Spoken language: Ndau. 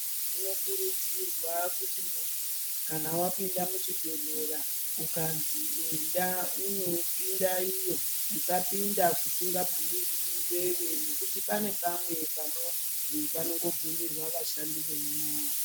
Zvinokurudzirwa kuti muntu kana wapinda muchibhedhlera ukanzi enda unopinda iyo usapinda kusingabvumirwi iwewe nokuti pane pamwe panonzi panongobvumirwa vashandi vemwo.